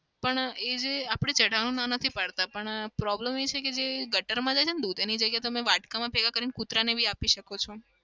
પણ એ જે આપડે ચડાવાની ના નથી પડતા પણ problem એ છે કે જે ગટરમાં જાય છે ને દૂધ એની જગ્યાએ તમે વાટકામાં ભેગા કરીને કુતરાને બી આપી શકો છે.